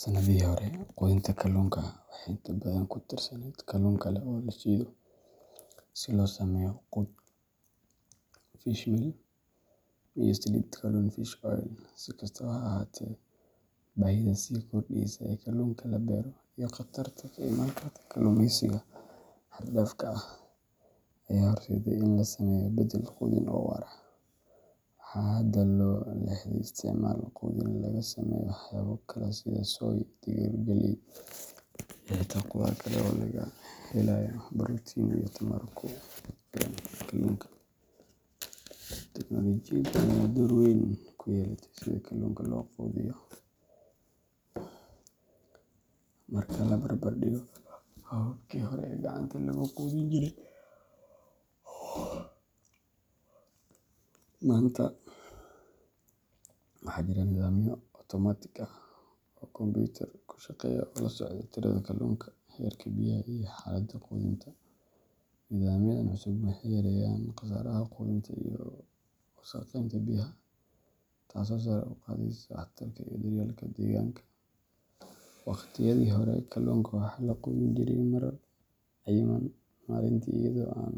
Sanadihii hore, quudinta kalluunka waxay inta badan ku tiirsaneyd kalluun kale oo la shiido si loo sameeyo quud fishmeal iyo saliid kalluun fish oil. Si kastaba ha ahaatee, baahida sii kordheysa ee kalluunka la beero, iyo khatarta ka imaan karta kalluumaysiga xad-dhaafka ah, ayaa horseeday in la sameeyo beddel quudin oo waara. Waxaa hadda loo leexday isticmaalka quudin laga sameeyo waxyaabo kale sida soy, digir, galley, iyo xitaa qudaar kale oo laga helayo borotiin iyo tamar ku filan kalluunka. Teknoolojiyadda ayaa door weyn ku yeelatay sida kalluunka loo quudiyo. Marka la barbardhigo hababkii hore ee gacanta lagu quudin jiray, maanta waxaa jira nidaamyo otomaatig ah oo kombuyuutar ku shaqeeya oo la socda tirada kalluunka, heerka biyaha, iyo xaaladda quudinta. Nidaamyadan cusub waxay yareeyaan khasaaraha quudinta iyo wasakheynta biyaha, taasoo sare u qaadaysa waxtarka iyo daryeelka deegaanka. Waqtiyadii hore, kalluunka waxaa la quudin jiray marar cayiman maalintii iyadoo aan